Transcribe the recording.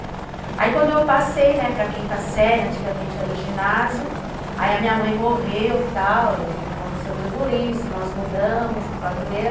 Aí quando eu passei, né, para quinta série, antigamente era o ginásio, aí a minha mãe morreu, tal, aconteceu tudo isso, nós mudamos para padroeira.